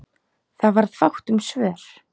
Það varð fátt um svör.